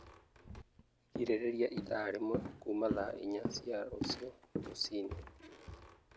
Girĩrĩria ĩthaa rĩmwe kuuma thaa inya cia rũciũ rũcinĩ